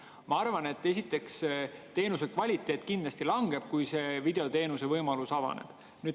Ma arvan, et esiteks teenuse kvaliteet kindlasti langeb, kui see videoteenusevõimalus avaneb.